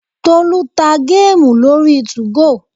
Tolú ta géèmù lórí 2go